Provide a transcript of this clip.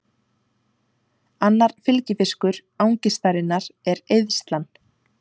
Annar fylgifiskur angistarinnar er eyðslan.